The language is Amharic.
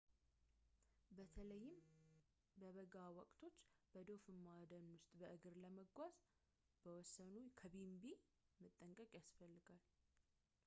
በተለይም በበጋ ወቅት በዶፍማ ደን ውስጥ በእግር ለመጓዝ ከወሰኑ ከቢንቢ መጠንቀቅ ያስፈልግዎታል